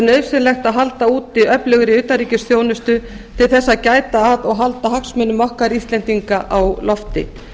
nauðsynlegt að halda úti öflugri utanríkisþjónustu til þess að gæta að og halda hagsmunum okkar íslendinga á lofti